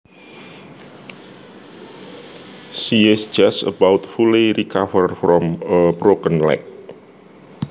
She is just about fully recovered from a broken leg